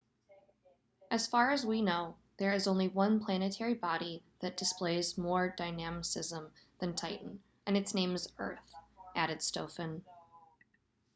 as far as we know there is only one planetary body that displays more dynamism than titan and its name is earth added stofan